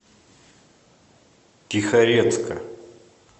тихорецка